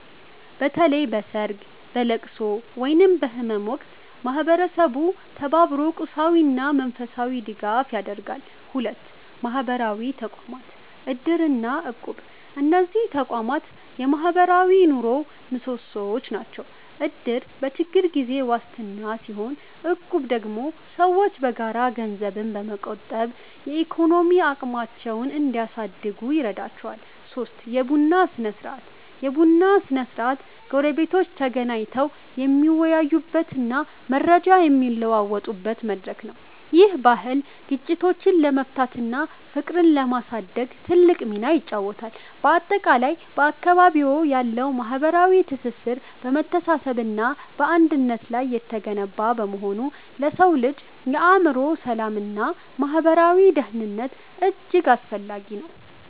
በተለይ በሰርግ፣ በልቅሶ ወይም በህመም ወቅት ማህበረሰቡ ተባብሮ ቁሳዊና መንፈሳዊ ድጋፍ ያደርጋል። 2. ማህበራዊ ተቋማት (እድር እና እቁብ) እነዚህ ተቋማት የማህበራዊ ኑሮው ምሰሶዎች ናቸው። እድር በችግር ጊዜ ዋስትና ሲሆን፣ እቁብ ደግሞ ሰዎች በጋራ ገንዘብ በመቆጠብ የኢኮኖሚ አቅማቸውን እንዲያሳድጉ ይረዳቸዋል። 3. የቡና ስነ-ስርዓት የቡና ሰዓት ጎረቤቶች ተገናኝተው የሚወያዩበትና መረጃ የሚለዋወጡበት መድረክ ነው። ይህ ባህል ግጭቶችን ለመፍታትና ፍቅርን ለማሳደግ ትልቅ ሚና ይጫወታል። ባጠቃላይ፣ በአካባቢዎ ያለው ማህበራዊ ትስስር በመተሳሰብና በአንድነት ላይ የተገነባ በመሆኑ ለሰው ልጅ የአእምሮ ሰላምና ማህበራዊ ደህንነት እጅግ አስፈላጊ ነው።